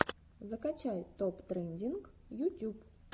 закачай топ трендинг ютюб